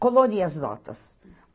Coloria as notas.